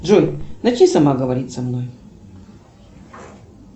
джой начни сама говорить со мной